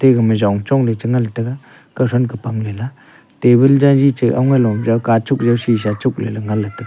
aga ma jong chong le che nganle tega kawthan ka pangle lah table jaji che awngai lo jau kachuk jaw sisa chuk leley ngan ley tega.